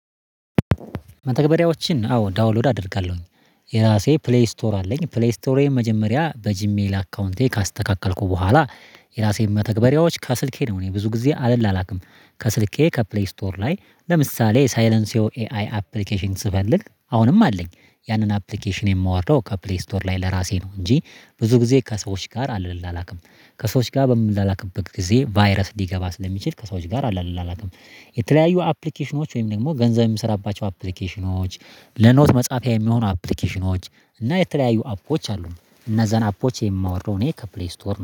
መተግበሪያዎችን አዎ ዳውንሎድ አደርጋለሁኝ። የራሴ ፕሌይ ስቶር አለኝ። ፕሌይ ስቶሬን መጀመሪያ በጂሜል አካውንቴ ካስተካከልኩ በኋላ፣ የራሴን መተግበሪያዎች ከስልኬ ነው እኔ ብዙ ጊዜ አልላላክም። ከስልኬ ከፕሌይ ስቶር ላይ ለምሳሌ ሳይለንሴኦ ኤአይ አፕሊኬሽን ስፈልግ አሁንም አለኝ። ያንን አፕሊኬሽን የማወርደው ከፕሌይ ስቶር ላይ ለራሴ ነው። እንጂ ብዙ ጊዜ ከሰዎች ጋር አልላላክም። ከሰዎች ጋር በምላላክበት ጊዜ ቫይረስ ሊገባ ስለሚችል ከሰዎች ጋር አልላላክም። የተለያዩ አፕሊኬሽኖች ወይም ደግሞ ገንዘብ የምሰራባቸው አፕሊኬሽኖች፣ ለኖት መጻፊያ የሚሆኑ አፕሊኬሽኖች፣ እና የተለያዩ አፖች አሉ። እነዛን አፖች የማወርደው እኔ ከፕሌይ ስቶር ነው።